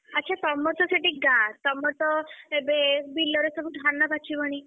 ଆଚ୍ଛା ତମରତ ସେଠି ଗାଁ, ତମରତ ଏବେ ବିଲରେ ସବୁ ଧାନ ପାଚିବଣି?